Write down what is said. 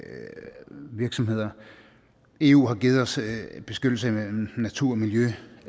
virksomheder eu har givet os beskyttelse af natur og miljø